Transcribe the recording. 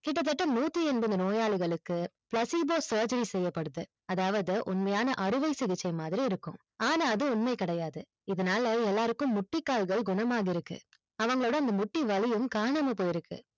கிட்டதட்ட நூத்தி எண்பது நோயாளிகளுக்கு placebo surgery செய்யப்படுது அதாவது உண்மையான அறுவை சிகிச்சை மாதிரி இருக்கும் ஆன அது உண்மையா கிடையாது இதனால எல்லாருக்கும் மூட்டி கால்கள் குணமாகி இருக்கு அவங்களோட மூட்டி வலியும் காணாம போயிருக்கு